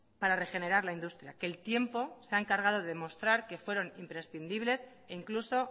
para regenerar la industria que el tiempo se ha encargado de demostrar que fueron imprescindibles e incluso